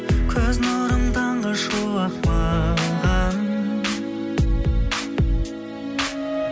көз нұрың таңғы шуақ маған